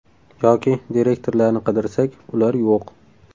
Yoki direktorlarni qidirsak, ular yo‘q.